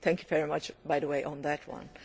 Thank you very much, by the way, on that one.